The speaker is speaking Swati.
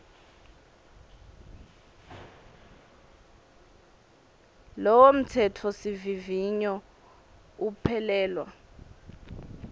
lowo mtsetfosivivinyo uphelelwa